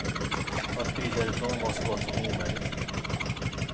Att fly därifrån var så gott som omöjligt.